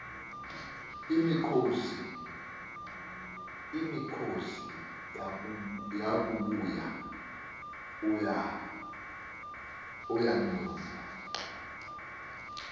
imikhosi yakubuya ayandula